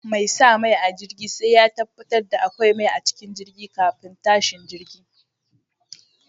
Mai sa mai a jirgi sai ya tabbatar da akwai mai a jirgi kafin tashin jirgi.